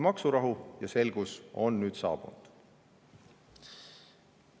Maksurahu ja selgus on nüüd saabunud.